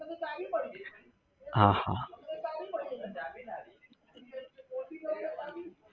હા હા